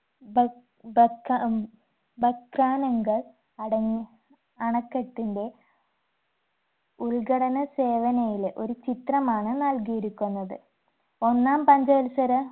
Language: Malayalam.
ബക് ബക ഉം ഭക്രാനംഗ അടങ് അണകെട്ടിന്റെ ഉൽഘടന സേവനയിലെ ഒരു ചിത്രമാണ് നൽകിയിരിക്കുന്നത് ഒന്നാം പഞ്ചവത്സര